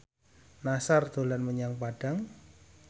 Nassar dolan menyang Padang